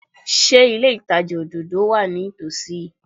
Ṣé ilé ìtajà òdòdó wà ní ìtòsí yìí?